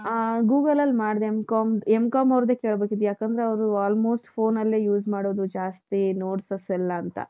ಹ್ಮ್ Google ಅಲ್ಲಿ ಮಾಡ್ದೆ M.Com M.Com ಅವರದ್ದೇ ಕೇಳಬೇಕಿತ್ತು ಯಾಕೆಂದ್ರೆ ಅವರು almost phoneನಲ್ಲೇ use ಮಾಡೋದು ಜಾಸ್ತಿ notes ಎಲ್ಲಾ ಅಂತ .